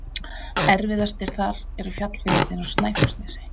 Erfiðastir þar eru fjallvegirnir á Snæfellsnesi.